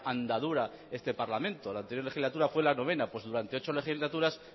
andadura este parlamento la anterior legislatura fue la noveno pues durante ocho legislaturas